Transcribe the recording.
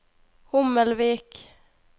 Hommelvik